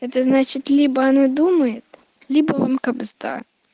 это значит либо она думает либо вам кабзда